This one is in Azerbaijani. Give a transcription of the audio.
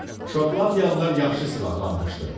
Şotlandiyalılar yaxşı silahlanmışdı.